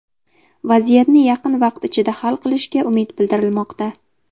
Vaziyatni yaqin vaqt ichida hal qilishga umid bildirilmoqda.